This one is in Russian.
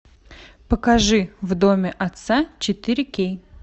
покажи в доме отца четыре кей